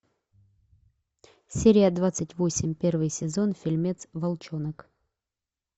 серия двадцать восемь первый сезон фильмец волчонок